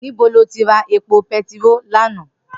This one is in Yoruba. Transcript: Nibó ló ti rá épó pètiró làná?